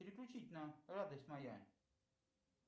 переключить на радость моя